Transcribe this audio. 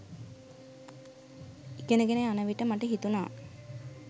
ඉගෙන ගෙන යන විට මට හිතුණා